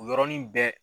O y yɔrɔnin bɛɛ